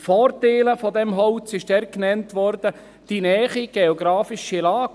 Vorteile des Holzes wurden dort genannt: die nahe geografische Lage.